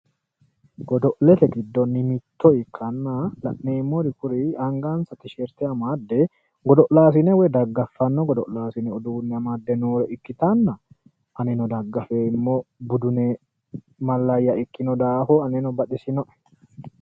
Godo'lete giddonni mitto ikkanna la'neemmori kuri angansa tisheerte amadde godo'laasine woy daggaffanno godo'laasine uduune amadde noore ikkitanna anino daggafeemmo budune malayya ikkino daafira abeno baxisino’e.